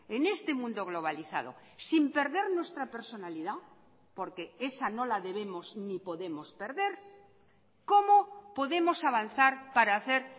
en este mundo globalizado sin perder nuestra personalidad porque esa no la debemos ni podemos perder cómo podemos avanzar para hacer